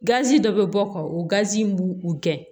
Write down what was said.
dɔ bɛ bɔ ka o gazi min b'u gɛn